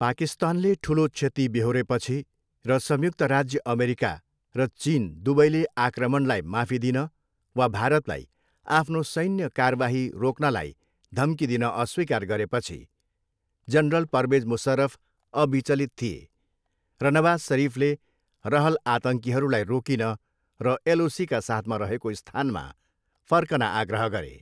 पाकिस्तानले ठुलो क्षति बेहोरेपछि, र संयुक्त राज्य अमेरिका र चिन दुवैले आक्रमणलाई माफी दिन वा भारतलाई आफ्नो सैन्य कारबाही रोक्नलाई धम्की दिन अस्वीकार गरेपछि, जनरल परवेज मुसर्रफ अविचलित थिए र नवाज सरिफले रहल आतङ्कीहरूलाई रोकिन र एलओसीका साथमा रहेको स्थानमा फर्कन आग्रह गरे।